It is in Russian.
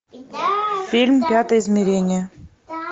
фильм пятое измерение